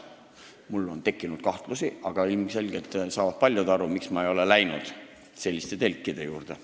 Mul on tekkinud kahtlusi, aga ilmselgelt saavad paljud aru, miks ma ei ole läinud selliste telkide juurde.